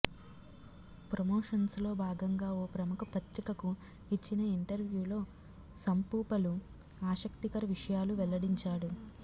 ప్రమోషన్స్లో భాగంగా ఓ ప్రముఖ పత్రికకు ఇచ్చిన ఇంటర్వ్యూలో సంపూ పలు ఆసక్తికర విషయాలు వెల్లడించాడు